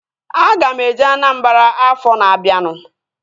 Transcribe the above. Aga m eje Anambara afọ na-abianu